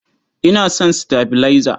Ina son sitabilaiza.